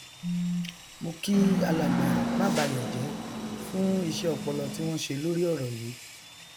mo kí alàgbà mábayọjẹ fún iṣẹ ọpọlọ tí wọn ṣe lórí ọrọ yí